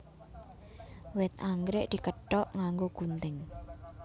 Wit anggrèk dikethok nganggo gunting